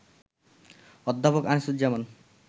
অধ্যাপক আনিসুজ্জামান